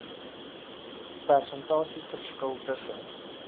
persentasie verskil tussen